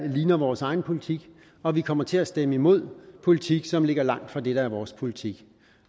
ligner vores egen politik og vi kommer til at stemme imod politik som ligger langt fra det der er vores politik